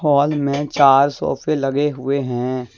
Hall में चार सोफे लगे हुए हैं।